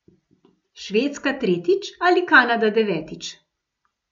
Švedska tretjič ali Kanada devetič?